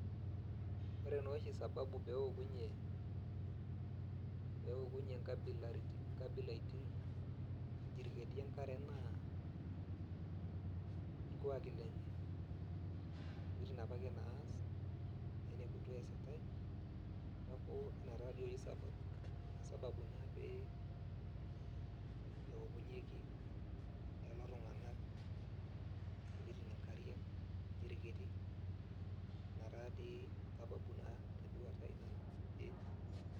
Ore noshi sababu peokunye, peokunye nkabilaritin iljiriketi enkare naa irkuaki lenye. Ntokiting apake naas, naineputua eesitai, neeku ina taduo oshi sababu. Ina sababu naa pee eokunyeki lelo tung'anak intokiting inkariak iljiriketi. Ina tadii sababu naa teduata ai nanu, ee.